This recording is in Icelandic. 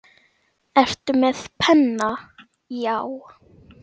Ertu með penna, já.